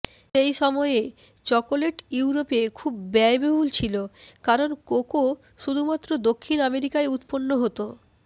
সেই সময়ে চকোলেট ইউরোপে খুব ব্যয়বহুল ছিল কারণ কোকো শুধুমাত্র দক্ষিণ আমেরিকায় উৎপন্ন হত